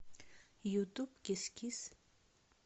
ютуб кис кис